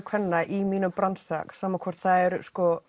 kvenna í mínum bransa sama hvort það eru